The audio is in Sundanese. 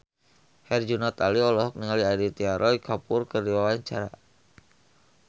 Herjunot Ali olohok ningali Aditya Roy Kapoor keur diwawancara